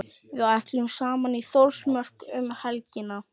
Við ætlum saman í Þórsmörk um helgina.